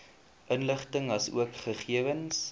inligting asook gegewens